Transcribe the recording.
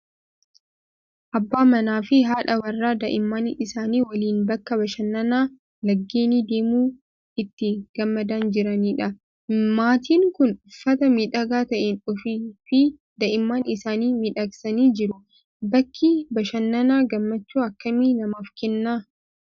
Abbaa manaa fi haadha warraa daa'imman isaanii waliin bakka bashannanaa lageenii deemuun itti gammadaa jiranidha. Maatiin kun uffata miidhagaa ta'een ofii fi Daa'imman isaanii miidhagsanii jiru. Bakki bashannanaa gammachuu akkamii namaaf kenna?